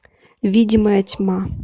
видимая тьма